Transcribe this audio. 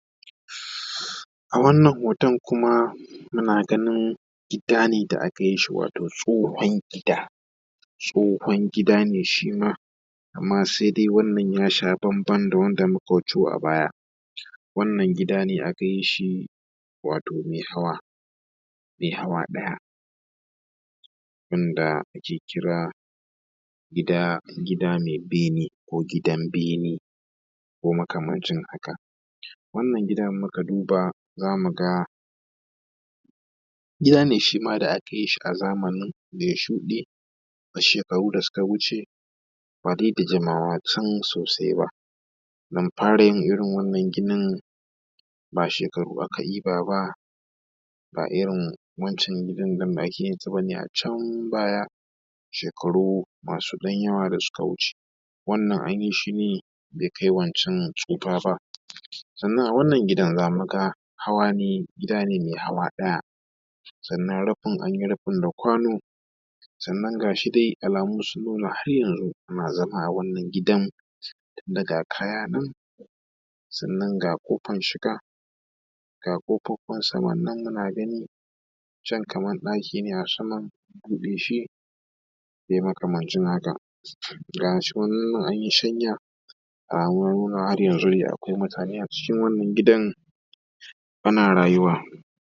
A wannan hoton kuma muna ganin gida ne da aka yi shi, wato tsohon gida tsohon gida ne shi ma, amma se dai wannan ya sha bamban da wanda muka wuto a baya, wannan gida ne aka yi shi wato a baya mai hawa ɗaya wanda ake kira gida me bene ko gidan bene ko makamancin haka, wannan gidan in muka duba za mu ga gida ne shi ma da aka yi shi a zamanin da ya shuɗe a sekaru da suka wuce ba dai da jimawa can sosai ba dan fara yin irin wannan ginin ba shekaru aka ɗiba ba ba irin wancan gida ne da ake yin shi a can baya shekaru masu ɗan yawa da suka wuce wannan an yi shi ne bai kai wancan tsufa ba. Sannan a wannan gidan za mu ga hawa ne gida ne mai hawa ɗaya, sannan rufin an yi rufin da kwano, sannan ga shi dai alamu sun nuna har yanzu ana zama a wannan gidan tun da ga kaya nan sannan ga ƙofan shiga ga ƙofofin saman nan muna gani can kaman ɗaki ne a sama an buɗeshi dai makamancin haka, ga shi wannan an yi shanya a wurin har yanzu akwai mutane a cikin wannan gidan ana rayuwa.